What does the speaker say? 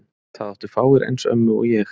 Það áttu fáir eins ömmu og ég.